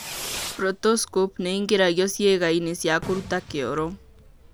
Proctoscope nĩ ĩingĩragio ciĩga-inĩ cia kũruta kĩoro.